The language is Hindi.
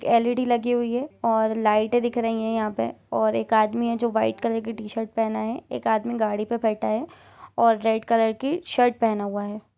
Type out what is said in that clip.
एक एल.इ.डी लगी हुई हैऔर लाइटे दिख रही है यहा पेऔर एक आदमी हैजो वाइट कलर की टी-शर्ट पहना है एक आदमी गाड़ी पर बेठा है ओर रेड कलर की शर्ट पहना हुआ है।